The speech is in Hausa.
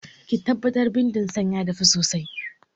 Ki tabbatar bindin san ya dafu sosai!